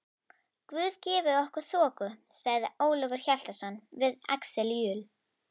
Guð gefi okkur þoku, sagði Ólafur Hjaltason við Axel Jul.